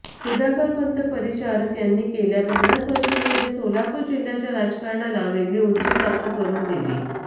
सुधाकरपंत परिचारक यांनी गेल्या पन्नास वर्षांमध्ये सोलापूर जिह्याच्या राजकारणाला वेगळी उंची प्राप्त करून दिली